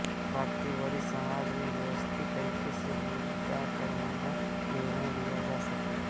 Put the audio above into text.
ताकि बड़ी सभा में व्यवस्थित तरीके से मुद्दादरमुद्दा निर्णय लिया जा सके